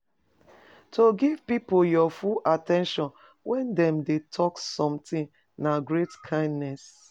To give pipo your full at ten tion when dem de talk sometimes na great kindness